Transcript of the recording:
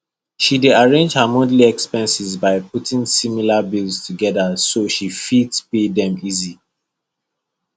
she dey arrange her monthly expenses by putting similar bills together so she fit pay them easy